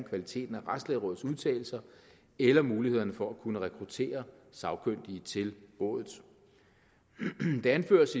kvaliteten af retslægerådets udtalelser eller mulighederne for at kunne rekruttere sagkyndige til rådet det anføres